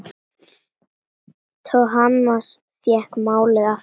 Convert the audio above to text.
Thomas fékk málið aftur.